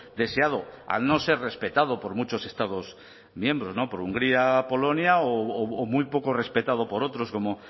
deseado al no ser respetado por muchos estados miembros por hungría polonia o muy poco respetado por otros como